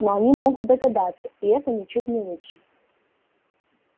но они могут догадаться и это ничуть не лучше